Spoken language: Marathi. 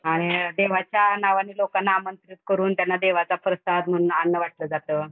आणि देवाच्या नावानी लोकांना आमंत्रित करून त्यांना देवाचा प्रसाद म्हणून अन्न वाटलं जात.